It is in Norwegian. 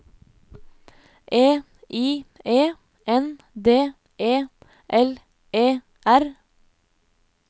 E I E N D E L E R